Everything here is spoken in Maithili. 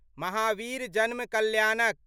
महावीर जन्म कल्याणक